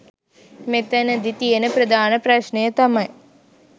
මෙතැනදි තියෙන ප්‍රධාන ප්‍රශ්නය තමයි